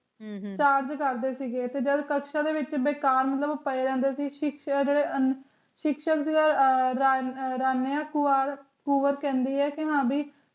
ਕਬਰਾਂ ਦੇ ਵਿਚ ਬੇਕਾਰ ਪਏ ਰਹਿੰਦੇ ਸੀ ਸਿੱਖ ਸਿਆਸਤ ਟੁੱਚਲ ਦਾ ਰਾਹ ਦਿਖਾਇਆ ਹੈ ਭੋਪਾਲ ਕੌਰ ਕਹਿੰਦੀ ਹੈ ਕਿ